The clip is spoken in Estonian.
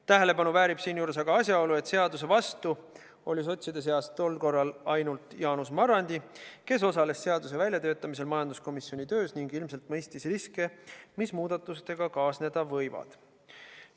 Tähelepanu väärib siinjuures aga asjaolu, et seaduse vastu oli sotside seast tol korral ainult Jaanus Marrandi, kes osales seaduse väljatöötamisel majanduskomisjoni töös ning ilmselt mõistis riske, mis muudatustega kaasneda võivad.